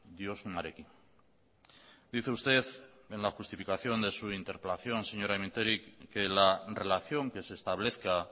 diozunarekin dice usted en la justificación de su interpelación señora mintegi que la relación que se establezca